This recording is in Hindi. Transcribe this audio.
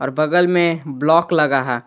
और बगल में ब्लॉक लगा है।